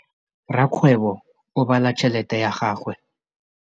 Rakgwêbô o bala tšheletê ya gagwe.